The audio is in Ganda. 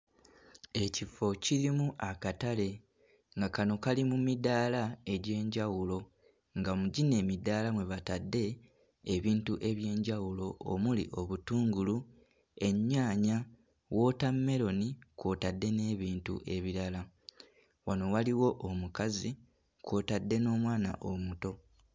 Ekifo kirimu akatale nga kano kali mu midaala egy'enjawulo, nga mu gino emidaala mwe batadde ebintu eby'enjawulo omuli obutungulu, ennyaanya, wootameroni kw'otadde n'ebintu ebirala. Wano waliwo omukazi kw'otadde n'omwana omuto.